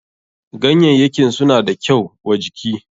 Ganyayyakin suna da kyau wa jiki.